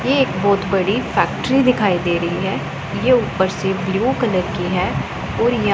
ये एक बहोत बड़ी फैक्ट्री दिखाई दे रही है ये ऊपर से ब्लू कलर की है और या--